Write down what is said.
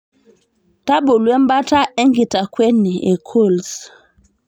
tabolu embata enkitakueni e cools